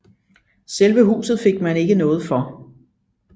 Selve huset fik man ikke noget for